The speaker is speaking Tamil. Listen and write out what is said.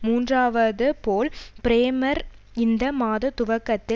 மூன்றாவது போல் பிரேம்மர் இந்த மாத துவக்கத்தில்